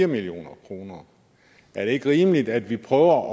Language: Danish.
million kroner er det ikke rimeligt at vi prøver